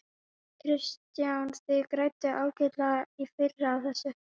Kristján: Þið grædduð ágætlega í fyrr á þessu?